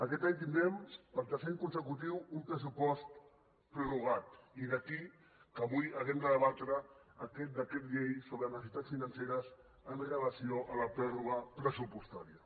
aquest any tindrem per tercer any consecutiu un pressupost prorrogat i d’aquí que avui hàgim de debatre aquest decret llei sobre necessitats financeres amb relació a la pròrroga pressupostària